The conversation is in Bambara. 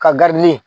Ka garidilen